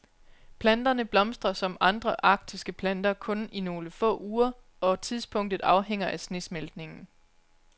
Planterne blomstrer, som andre arktiske planter, kun i nogle få uger, og tidspunktet afhænger af snesmeltningen.